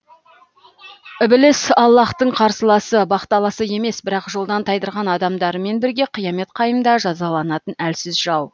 ібіліс аллаһтың қарсыласы бақталасы емес бірақ жолдан тайдырған адамдарымен бірге қиямет қайымда жазаланатын әлсіз жау